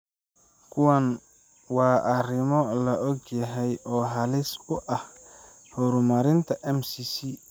Kuwani waa arrimo la og yahay oo halis u ah horumarinta MCC.